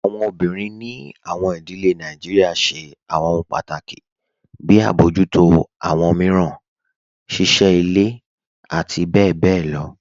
Awọn obìnrin ní awọn ìdílẹ̀ Nàìjíríà ṣẹ̀ awọn òhun pátákì, bí àbọjútọ̀ awọn miíràn, ṣíṣẹ́ ilẹ̀, àti bẹ̀bẹ̀ lọ.